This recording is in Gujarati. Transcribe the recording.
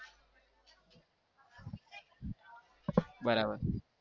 બરાબર